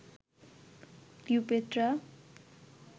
Cleopatra